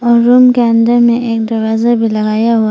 और रूम के अंदर में एक दरवाजा भी लगाया हुआ--